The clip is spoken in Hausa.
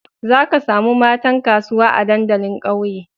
Zaka samu matan kasuwa a dandalin ƙauye